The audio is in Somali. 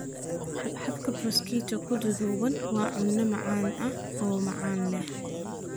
Xabxabka Prosciutto-ku duudduubay waa cunno macaan oo macaan leh.